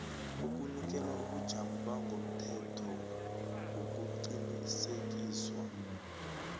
ukunikela ubujamo bangokomthethoukuqinisekiswa